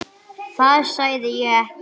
Það sagði ég ekki